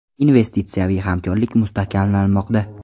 Investitsiyaviy hamkorlik mustahkamlanmoqda.